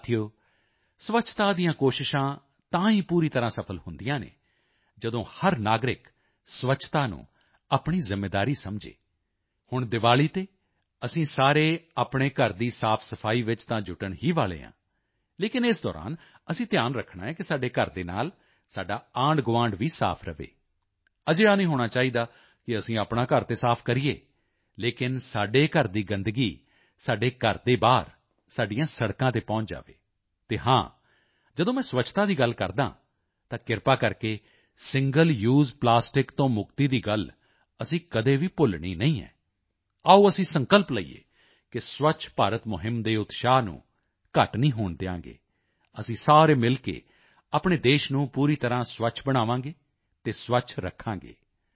ਸਾਥੀਓ ਸਵੱਛਤਾ ਦੀਆਂ ਕੋਸ਼ਿਸ਼ਾਂ ਤਾਂ ਹੀ ਪੂਰੀ ਤਰ੍ਹਾਂ ਸਫ਼ਲ ਹੁੰਦੀਆਂ ਹਨ ਜਦੋਂ ਹਰ ਨਾਗਰਿਕ ਸਵੱਛਤਾ ਨੂੰ ਆਪਣੀ ਜ਼ਿੰਮੇਵਾਰੀ ਸਮਝੇ ਹੁਣ ਦੀਵਾਲੀ ਤੇ ਅਸੀਂ ਸਾਰੇ ਆਪਣੇ ਘਰ ਦੀ ਸਾਫਸਫ਼ਾਈ ਵਿੱਚ ਤਾਂ ਜੁਟਣ ਹੀ ਵਾਲੇ ਹਾਂ ਲੇਕਿਨ ਇਸ ਦੌਰਾਨ ਅਸੀਂ ਧਿਆਨ ਰੱਖਣਾ ਹੈ ਕਿ ਸਾਡੇ ਘਰ ਦੇ ਨਾਲ ਸਾਡਾ ਆਂਢਗੁਆਂਢ ਵੀ ਸਾਫ ਰਹੇ ਅਜਿਹਾ ਨਹੀਂ ਹੋਣਾ ਚਾਹੀਦਾ ਕਿ ਅਸੀਂ ਆਪਣਾ ਘਰ ਤਾਂ ਸਾਫ ਕਰੀਏ ਲੇਕਿਨ ਸਾਡੇ ਘਰ ਦੀ ਗੰਦਗੀ ਸਾਡੇ ਘਰ ਦੇ ਬਾਹਰ ਸਾਡੀਆਂ ਸੜਕਾਂ ਤੇ ਪਹੁੰਚ ਜਾਵੇ ਅਤੇ ਹਾਂ ਮੈਂ ਜਦੋਂ ਸਵੱਛਤਾ ਦੀ ਗੱਲ ਕਰਦਾ ਹਾਂ ਤਾਂ ਕ੍ਰਿਪਾ ਕਰਕੇ ਸਿੰਗਲ ਯੂਐਸਈ ਪਲਾਸਟਿਕ ਤੋਂ ਮੁਕਤੀ ਦੀ ਗੱਲ ਅਸੀਂ ਕਦੇ ਵੀ ਭੁੱਲਣੀ ਨਹੀਂ ਹੈ ਆਓ ਅਸੀਂ ਸੰਕਲਪ ਲਈਏ ਕਿ ਸਵੱਛ ਭਾਰਤ ਮੁਹਿੰਮ ਦੇ ਉਤਸ਼ਾਹ ਨੂੰ ਘੱਟ ਨਹੀਂ ਹੋਣ ਦਿਆਂਗੇ ਅਸੀਂ ਸਾਰੇ ਮਿਲ ਕੇ ਆਪਣੇ ਦੇਸ਼ ਨੂੰ ਪੂਰੀ ਤਰ੍ਹਾਂ ਸਵੱਛ ਬਣਾਵਾਂਗੇ ਅਤੇ ਸਵੱਛ ਰੱਖਾਂਗੇ